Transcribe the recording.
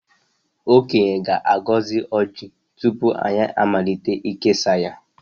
Okenye ga-agọzi ojị tupu anyị amalite ikesa ya.